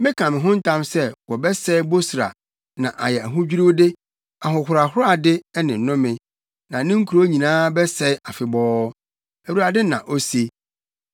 Meka me ho ntam sɛ wɔbɛsɛe Bosra na ayɛ ahodwiriwde, ahohorade ne nnome; na ne nkurow nyinaa bɛsɛe afebɔɔ,” Awurade na ose.